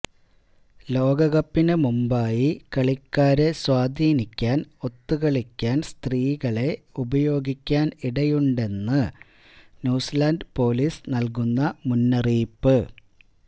ലോകകപ്പിന് മുമ്പായി കളിക്കാരെ സ്വാധീനിക്കാന് ഒത്തുകളിക്കാന് സ്ത്രീകളെ ഉപയോഗിക്കാന് ഇടയുണ്ടെന്നാണ് ന്യൂസിലന്ഡ് പോലീസ് നല്കുന്ന മുന്നറിയിപ്പ്